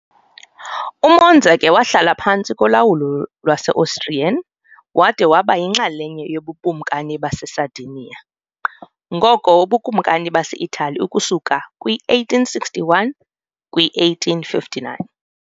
UMonza ke wahlala phantsi kolawulo lwase-Austrian, wada waba yinxalenye yoBukumkani baseSardinia, ngoko uBukumkani base-Italy, ukusuka kwi-1861 kwi-1859.